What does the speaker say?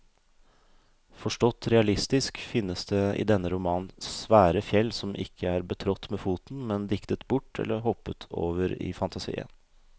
Forstått realistisk finnes det i denne romanen svære fjell som ikke er betrådt med foten, men diktet bort eller hoppet over i fantasien.